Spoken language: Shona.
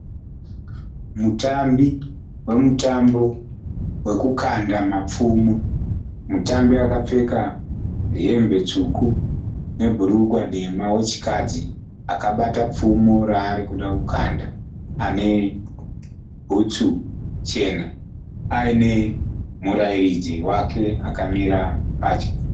Mutambi wemutambo wekukanda mapfumo. Mutambi akapfeka hembe tsvuku nebhurukwa dema wechikadzi. Akabata pfumo raari kuda kukanda. Ane bhutsu chena aine murairidzi wake akamira pedyo.